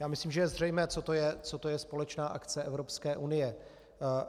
Já myslím, že je zřejmé, co to je společná akce Evropské unie.